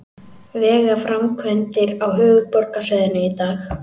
Vegaframkvæmdir á höfuðborgarsvæðinu í dag